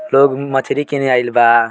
लोग भी मछरी किने आईल बा।